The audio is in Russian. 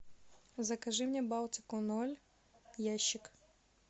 закажи мне балтику ноль ящик